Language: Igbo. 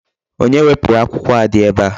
Onye wepụrụ akwụkwọ a dị ebe a?